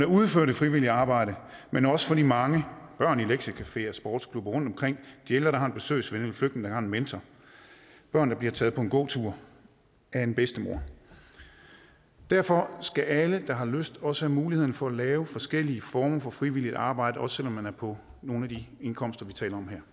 udfører det frivillige arbejde men også for de mange børn i lektiecafeer og sportsklubber rundtomkring de ældre der er besøgsven og en flygtning der har en mentor børn der bliver taget på en gåtur af en bedstemor derfor skal alle der har lyst også have muligheden for at lave forskellige former for frivilligt arbejde også man er på nogle af de indkomster vi taler om her